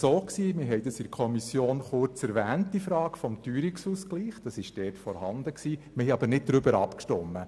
In der BiK hatten wir die Frage des Teuerungsausgleichs kurz erwähnt, wir stimmten aber nicht darüber ab.